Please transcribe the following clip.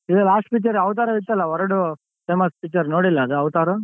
ಇದ್ last picture ಅವ್ತರಾದಿತ್ತಲ್ಲ ವರಡು famous picture ನೋಡಿಲ್ಲ ಅದು ಅವ್ತಾರು?